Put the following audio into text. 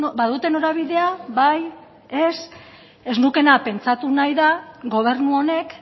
badute norabidea bai ez ez nukeena pentsatu nahi da gobernu honek